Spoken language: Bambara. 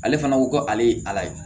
Ale fana ko ko ale ye ala ye